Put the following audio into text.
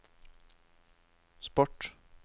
sport